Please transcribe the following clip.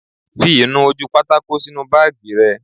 Fi ìnu-ojúpátákó sínu báàgì rẹ